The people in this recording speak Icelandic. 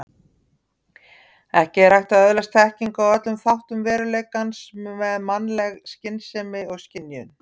Ekki er hægt að öðlast þekkingu á öllum þáttum veruleikans með mannleg skynsemi og skynjun.